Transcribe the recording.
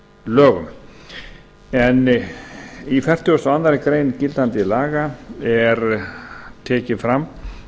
lögum en í fertugustu og aðra grein gildandi laga er tekið fram